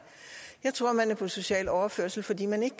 jeg tror at man er på social overførsel fordi man ikke